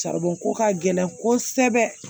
ko ka gɛlɛn kosɛbɛ